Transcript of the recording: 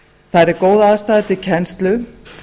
þar er góð aðstaða til kennslu